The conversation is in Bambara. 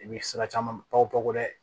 I bɛ sira caman pɔko dɛ